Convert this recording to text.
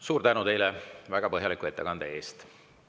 Suur tänu teile väga põhjaliku ettekande eest!